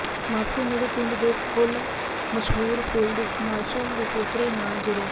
Moscow ਨੇੜੇ ਪਿੰਡ ਦੇ ਫੁੱਲ ਮਸ਼ਹੂਰ ਫੀਲਡ ਮਾਰਸ਼ਲ ਦੇ ਪੋਤਰੇ ਨਾਲ ਜੁੜਿਆ